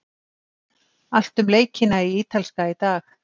Allt um leikina í Ítalska í dag.